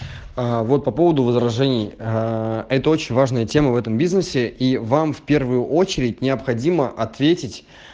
а вот по поводу возражений это очень важная тема в этом бизнесе и вам в первую очередь необходимо ответить